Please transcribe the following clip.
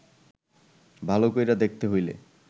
ভাল কইরা দেখতে হইলে